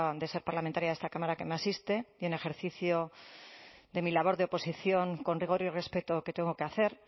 de ser parlamentaria de esta cámara que me asiste y en ejercicio de mi labor de oposición con rigor y respeto que tengo que hacer